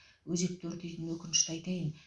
өзекті өртейтін өкінішті айтайын